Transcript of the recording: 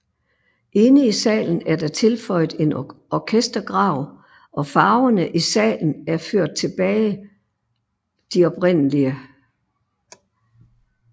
Inde i salen er der tilføjet en orkestergrav og farverne i salen er ført tilbage de oprindelige